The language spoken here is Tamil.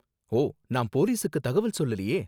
ஓ, நான் போலீசுக்கு தகவல் சொல்லலயே.